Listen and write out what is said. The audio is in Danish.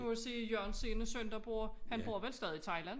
Nu kan du se Jørgens ene søn der bor han bor vel stadig i Thailand